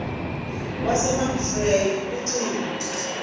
wasemount frere ucingo